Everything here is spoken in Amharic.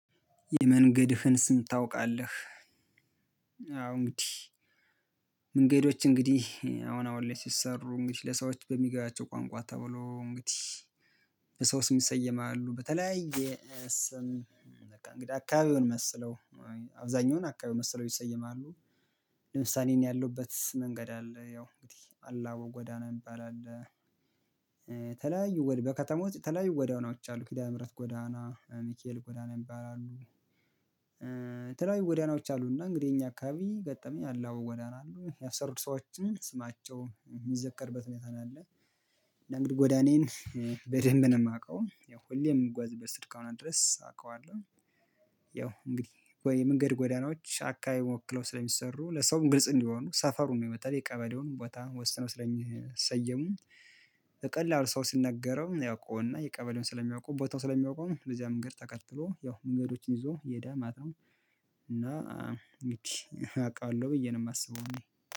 የመንገድህን ስም ታውቃለህ? አዎ እንግዲህ መንገዶች እንግዲህ አሁን አሁን ላይ ሲሰሩ እንግዲህ ለሰዎች በሚገባቸው ቋንቋ ተብሎ እንግዲህ በሰው ስም ይሰየማሉ በተለያየ ሰም በቃ እንግዲህ አካባቢውን መስለው አብዛኛውን አካባቢውን መስለው ይሰየማሉ። ለምሳሌ እኔ ያለውበት መንገድ አለ ያው እንግዲህ አላው ጎዳና የሚባል። አለ ወዲያው በከተማየመው ውስጥ የተለያዩ ጎዳናዎች አሉ ኪዳነ ምህረት ጎዳና ሚኪኤል ጎዳና የሚባሉ አሉ። የተለያዩ ጎዳናዎች አሉና እንግዲህ የኛ አካባቢ ገጠመኝ አለ ጎዳና ያሰሩት ሰዎችን ስማቸው የሚዘከርበት ሁኔታ ነው። ያለ እና እንግዲህ ጎዳኔን በደንብ ነው የማውቀው ያው ሁሌም የምጓዝበት እስከ ሆነ ድረስ አውቀዋለሁ። ያው እንግዲህ የመንገድ ጎዳናዎች አካባቢ ወክለው ስለሚሰሩ ለሰውም ግልጽ እንዲሆኑ ሰፈሩን ነው በተለይ ቀበሌውንም ቦታ ወስነው ስለሚሰየሙ። ቀላል ሰው ስንነገረው ያውቀውና የቀበሌውን ስለሚያውቀው ቦታው ስለሚያውቀው ነው ለዚያ መንገድ ተከትሎ ያው መንገዶችን ይዞ የዳ ማለት ማተው እና እንግዲህ አውቃለሁ ብዬ ነው የማስበው